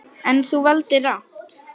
En, þú valdir rangt.